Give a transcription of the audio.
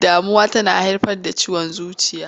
Damuwa tana haifar da ciwon zuciya.